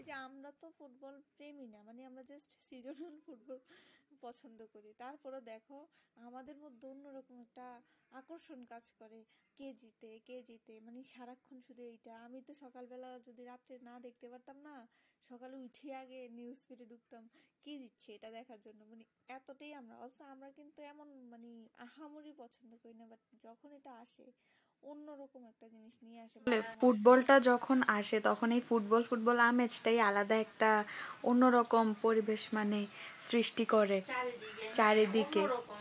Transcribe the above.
ফুটবলটা যখন আসে তখন এই ফুটবল ফুটবল আমেজটাই আলাদা তা অন্যরকম পরিবেশ মানে সৃষ্টি করে